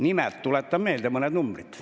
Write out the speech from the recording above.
Nimelt tuletan meelde mõned numbrid.